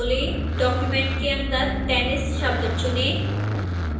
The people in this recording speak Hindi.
document के अंदर tennis शब्द चुनें